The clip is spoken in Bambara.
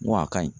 N ko a ka ɲi